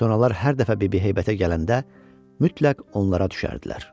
Sonralar hər dəfə Bibi Heybətə gələndə mütləq onlara düşərdilər.